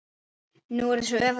Nú er þessu öfugt farið.